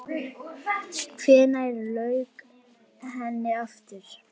Hvenær lauk henni aftur?